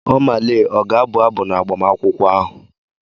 Oma Lee ọ ga-abụ abụ n'agbamakwụkwọ ahụ?